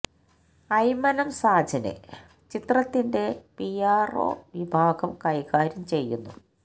അയ്മനം സാജന് ചിത്രത്തിന്റെ P R O വിഭാഗം കൈകാര്യം ചെയ്യുന്നു